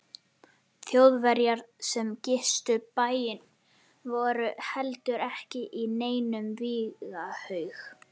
Þjóðverjar sem gistu bæinn voru heldur ekki í neinum vígahug.